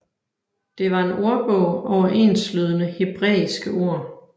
Det var en ordbog over enslydende hebræiske ord